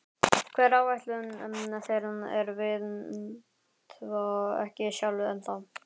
Hver áætlun þeirra er veit ég ekki sjálfur ennþá.